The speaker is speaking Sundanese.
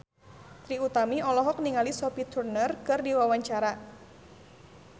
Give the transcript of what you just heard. Trie Utami olohok ningali Sophie Turner keur diwawancara